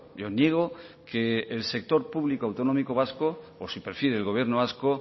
yo niego que el sector público autonómico vasco o si prefiere el gobierno vasco